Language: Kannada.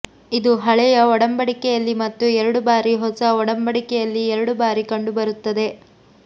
ಇದು ಹಳೆಯ ಒಡಂಬಡಿಕೆಯಲ್ಲಿ ಮತ್ತು ಎರಡು ಬಾರಿ ಹೊಸ ಒಡಂಬಡಿಕೆಯಲ್ಲಿ ಎರಡು ಬಾರಿ ಕಂಡುಬರುತ್ತದೆ